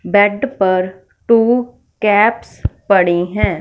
Bat पर two caps पड़ी हैं।